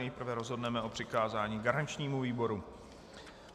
Nejprve rozhodneme o přikázání garančnímu výboru.